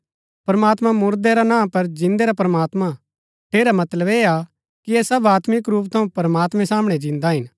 प्रमात्मां मुरदै रा ना पर जिन्दै रा प्रमात्मां हा ठेरा मतलब ऐह हा कि ऐह सब आत्मिक रूप थऊँ प्रमात्मैं सामणै जिन्दा हिन